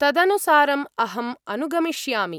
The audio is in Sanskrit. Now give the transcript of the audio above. तदनुसारम् अहम् अनुगमिष्यामि।